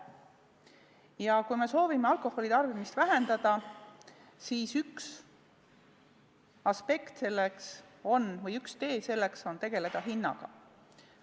Ja kui me soovime alkoholi tarbimist vähendada, siis üks tee selleks on tegeleda hinnaga.